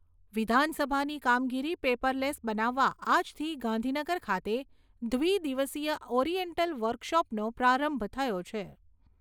વિધાનસભાની કામગીરી પેપરલેસ બનાવવા આજથી ગાંધીનગર ખાતે દ્વિદિવસીય ઓરીએન્ટલ વર્કશોપનો પ્રારંભ થયો છે.